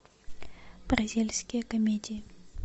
бразильские комедии